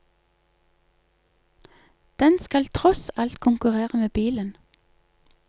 Den skal tross alt konkurrere med bilen.